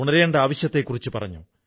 അതാണ് ഈ ആശയത്തിനു പിന്നിൽ